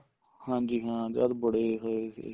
ਹਾਂਜੀ ਹਾਂ ਜਦ ਬੜੇ ਹੋਏ ਸੀ